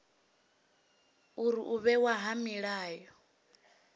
uri u vhewa ha milayo